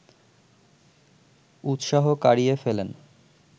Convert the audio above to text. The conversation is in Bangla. উৎসাহ কারিয়ে ফেলেন